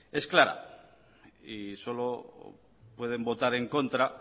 es clara y solo pueden votar en contra